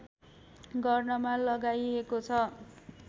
गर्नमा लगाइएको छ